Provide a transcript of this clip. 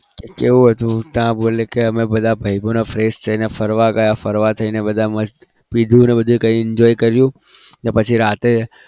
કેવું હતું ત્યાં બોલે કે અમે બધા ભાઈબંધો fresh થઈને ફરવા ગયા ફરવા જઈને બધા મસ્ત પીધું અને બધું કરીને મસ્ત enjoy કર્યું અને પછી રાત્રે